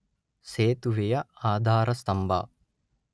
ಸೇತುವೆಯ ಆಧಾರಸ್ತಂಭ